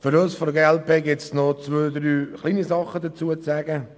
Für uns von der glp gibt es noch zwei, drei kleinere Sachen dazu zu sagen.